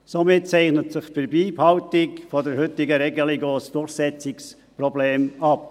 Somit zeichnet sich bei Beibehaltung der heutigen Regelung auch ein Durchsetzungsproblem ab.